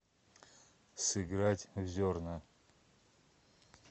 сыграть в зерна